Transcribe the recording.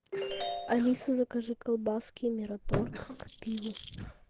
алиса закажи колбаски мираторг к пиву